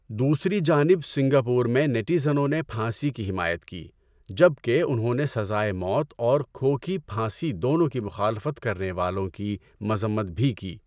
دوسری جانب سنگاپور میں نیٹیزنوں نے پھانسی کی حمایت کی جب کہ انہوں نے سزائے موت اور کھو کی پھانسی دونوں کی مخالفت کرنے والوں کی مذمت بھی کی۔